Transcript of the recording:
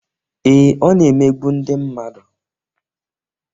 Ee, Ọ na-emegbu ndị mmadụ